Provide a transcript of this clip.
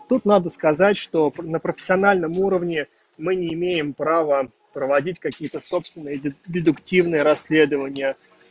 тут надо сказать что на профессиональном уровне мы не имеем право проводить какие-то собственные дедуктивные расследования